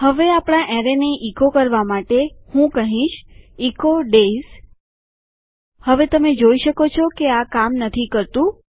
હવે આપણા એરેયને ઇકો કરવા માટે હું કહીશ ઇકો ડેયઝ હવે તમે જોઈ શકો છો કે આ કામ નથી કરતું